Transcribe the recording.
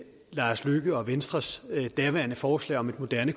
lars løkke rasmussens og venstres daværende forslag om et moderne